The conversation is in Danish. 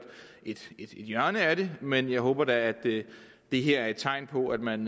hjørne af det men jeg håber da at det her er et tegn på at man